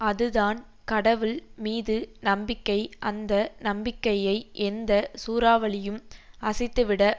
அதுதான் கடவுள் மீது நம்பிக்கை அந்த நம்பிக்கையை எந்த சூறாவளியும் அசைத்துவிட